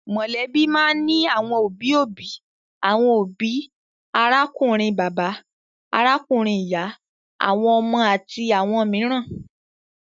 Mọ̀lẹ́bí máa ń ní àwọn òbí-òbí, àwọn òbí, arákùnrin bàbá, arábìnrin ìyá, àwọn ọmọ àti àwọn mìíràn.